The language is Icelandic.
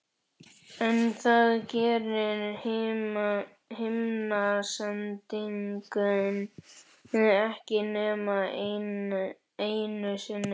En það segir himnasendingin ekki nema einu sinni.